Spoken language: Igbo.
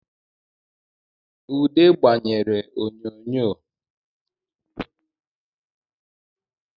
Ude gbanyere oyonyo